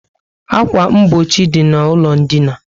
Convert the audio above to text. Akwa mgbochi dị na ụlọ dina